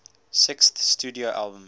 sixth studio album